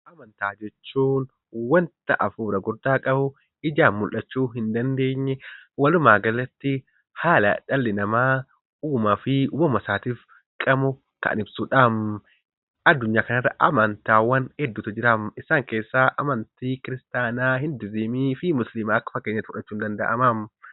Amantaa jechuun wanta hafuura guddaa qabu ijaan mul'achuu hin dandeenye walumaa galatti haala dhalli namaa uumaa fi uumama isaa kan ibsudha. Addunyaa kanarrati amantaa gosa hedduutu jira. Isaan keessaa amantii islaamaa, kiristaanaa, budizimii fi hinduuzimiidha